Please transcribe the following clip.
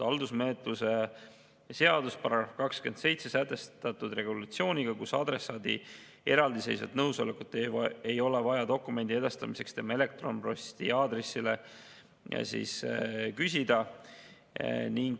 Haldusmenetluse seaduses on §-s 27 sätestatud regulatsioon, mille kohaselt adressaadi eraldiseisvat nõusolekut dokumendi edastamiseks tema elektronposti aadressile ei ole vaja küsida.